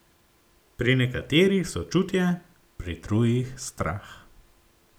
Pri nekaterih sočutje, pri drugih strah.